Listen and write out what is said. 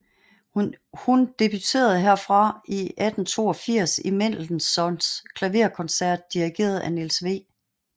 Hun debuterede herfra i 1882 i Mendelssohns klaverkoncert dirigeret af Niels W